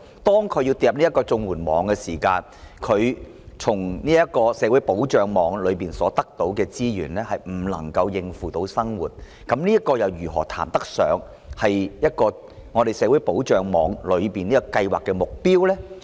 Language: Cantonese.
當他們墮入綜援網後，從這個社會保障的安全網中所得到的資源未能應付生活所需，那麼綜援如何能談得上達到社會保障的目標呢？